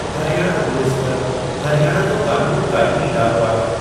Haryana police ब॒लु हरियाणा जो क़ानून क़ाइमी इदारो आहे।